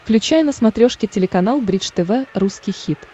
включай на смотрешке телеканал бридж тв русский хит